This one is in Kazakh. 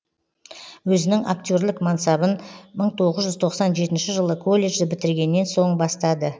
өзінің актерлік мансапын мың тоғыз жүз тоқсан жетінші жылы колледжді бітіргеннен сон бастады